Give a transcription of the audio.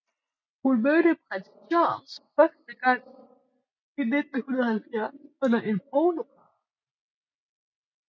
Hun mødte Prins Charles første gang i 1970 under en polokamp